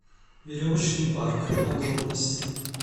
веревочный парк подробности